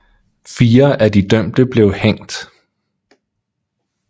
Fire af de dømte blev hængt